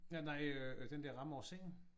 Ja nej øh den der ramme over sengen